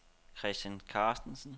Christian Carstensen